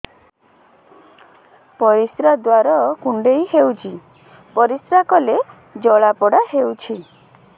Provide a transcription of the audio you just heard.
ପରିଶ୍ରା ଦ୍ୱାର କୁଣ୍ଡେଇ ହେଉଚି ପରିଶ୍ରା କଲେ ଜଳାପୋଡା ହେଉଛି